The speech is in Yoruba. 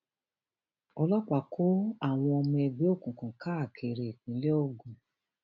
ọlọpàá kó àwọn ọmọ ẹgbẹ òkùnkùn káàkiri ìpínlẹ ogun